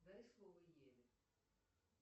дай слово еве